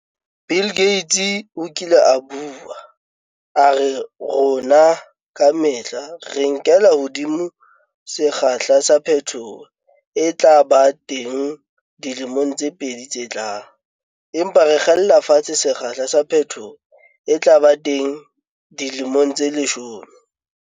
Bill Gates o kile a bua, a re rona ka mehla re nkela hodimo sekgahla sa phetoho e tla ba teng dilemong tse pedi tse tlang - empa re kgella fatshe sekgahla sa phetoho e tla ba teng dilemong tse leshome.